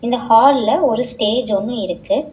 இந்த ஹால்ல ஒரு ஸ்டேஜ் ஒன்னு இருக்கு.